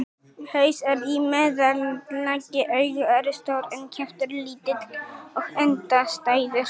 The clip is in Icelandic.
Haus er í meðallagi, augu eru stór en kjaftur lítill og endastæður.